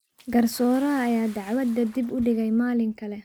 Garsooraha ayaa dacwadda dib u dhigay maalin kale.